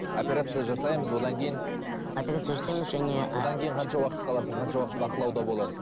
операция жасаймыз одан кейін операция жасаймыз және ы одан кейін қанша уақыт қаласың қанша уақыт бақылауда боласың